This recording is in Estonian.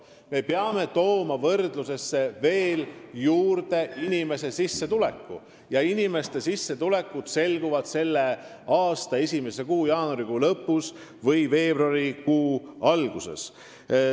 Aga me peame tooma siia võrdlusesse juurde ka inimeste sissetulekud, mis selguvad selle aasta esimese kuu, jaanuarikuu lõpus või veebruarikuu alguses.